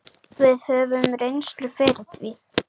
Við höfum reynslu fyrir því.